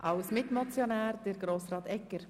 Als Mitmotionär spricht Grossrat Egger.